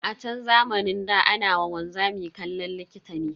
A chan zamanin ɗa, ana wa wanzami kallon likita ne.